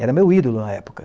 Era meu ídolo na época.